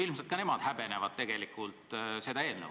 Ilmselt ka nemad tegelikult häbenevad seda eelnõu.